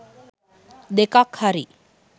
දෙකක් හරි